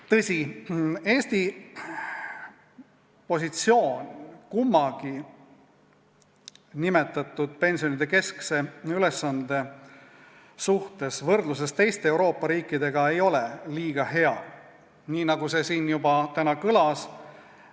Tõsi, Eesti positsioon pensioni kahe keskse ülesandega seoses ei ole teiste Euroopa riikidega võrreldes kuigi hea, nii nagu täna siin juba kõlas.